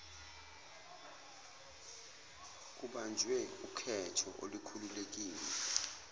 kubanjwe ukhetho olukhululekile